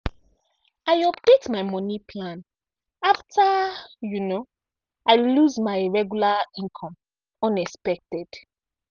i update my money plan after um i lose my regular income unexpected.